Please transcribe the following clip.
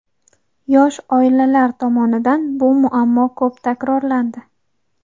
yosh oilalar tomonidan bu muammo ko‘p takrorlandi.